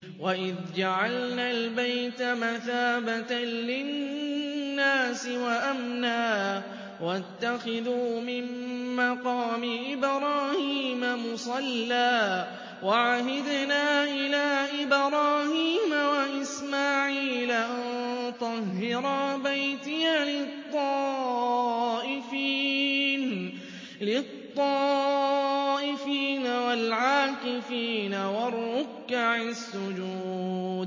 وَإِذْ جَعَلْنَا الْبَيْتَ مَثَابَةً لِّلنَّاسِ وَأَمْنًا وَاتَّخِذُوا مِن مَّقَامِ إِبْرَاهِيمَ مُصَلًّى ۖ وَعَهِدْنَا إِلَىٰ إِبْرَاهِيمَ وَإِسْمَاعِيلَ أَن طَهِّرَا بَيْتِيَ لِلطَّائِفِينَ وَالْعَاكِفِينَ وَالرُّكَّعِ السُّجُودِ